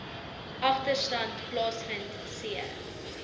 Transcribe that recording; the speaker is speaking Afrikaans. agterstand plaasvind c